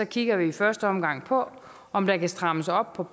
kigger vi i første omgang på om der kan strammes op på